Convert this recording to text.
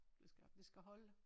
Det skal det skal holde